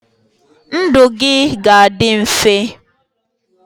ndụ gị ga-adị mfe